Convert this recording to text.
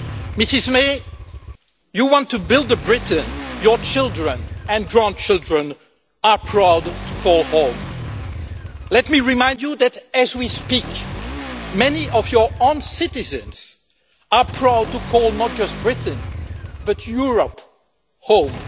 Mrs May, you want to build a Britain your children and grandchildren are proud to call home. Let me remind you that, as we speak, many of your own citizens are proud to call not just Britain but Europe home.